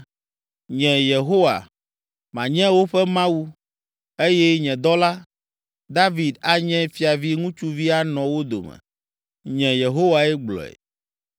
Nye, Yehowa, manye woƒe Mawu, eye nye dɔla, David anye fiavi ŋutsuvi anɔ wo dome.’ Nye, Yehowae gblɔe.